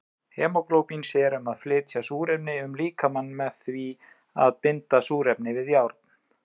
Hemóglóbín sér um að flytja súrefni um líkamann með því að binda súrefnið við járn.